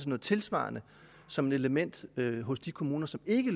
noget tilsvarende som et element hos de kommuner som ikke